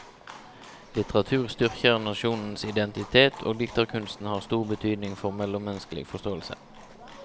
Litteratur styrker nasjonens identitet, og dikterkunsten har stor betydning for mellommenneskelig forståelse.